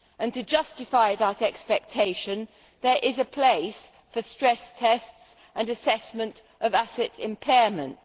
To justify that expectation there is a place for stress tests and assessment of asset impairment.